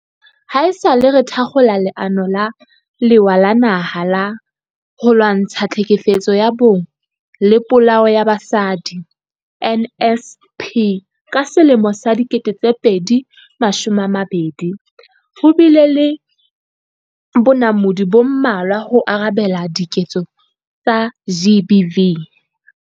Haesale re thakgola Leano la Lewa la Naha la ho Lwantsha Tlhekefetso ya Bong le Polao ya Basadi, NSP, ka 2020, ho bile le bonamodi bo mmalwa ho arabela diketso tsa GBV.